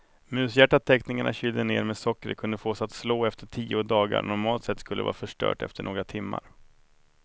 Mushjärtat teknikerna kylde ner med sockret kunde fås att slå efter tio dagar, normalt sett skulle det vara förstört efter några timmar.